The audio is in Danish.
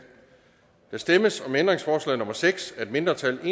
der stemmes om ændringsforslag nummer seks af et mindretal